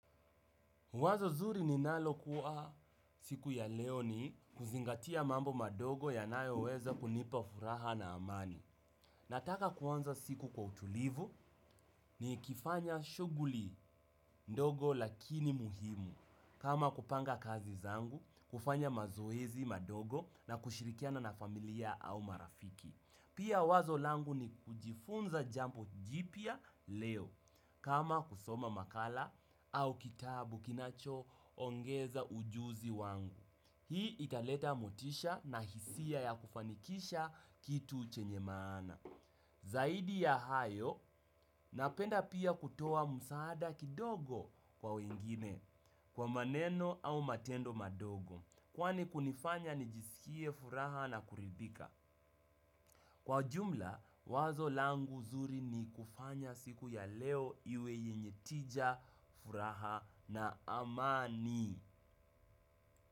Wazo zuri ninalokuwa siku ya leo ni kuzingatia mambo madogo yanayoweza kunipa furaha na amani. Nataka kuanza siku kwa utulivu nikifanya shughuli ndogo lakini muhimu. Kama kupanga kazi zangu, kufanya mazoezi madogo na kushirikiana na familia au marafiki. Pia wazo langu ni kujifunza jambo jipya leo kama kusoma makala au kitabu kinachoongeza ujuzi wangu. Hii italeta motisha na hisia ya kufanikisha kitu chenye maana. Zaidi ya hayo napenda pia kutoa msaada kidogo kwa wengine kwa maneno au matendo madogo. Kwani kunifanya nijisikie furaha na kuridhika. Kwa jumla, wazo langu zuri ni kufanya siku ya leo iwe yenye tija, furaha na amani.